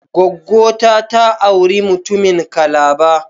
gwaggo ta, ta auri mutumin Calabar